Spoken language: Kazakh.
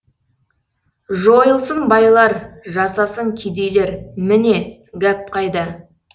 жойылсын байлар жасасын кедейлер міне гәп қайда